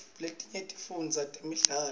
letinye tifundzisa ngetemidlao